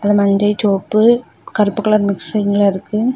அது மஞ்சை சிவப்பு கருப்பு கலர் மிக்ஸிங்ல இருக்கு.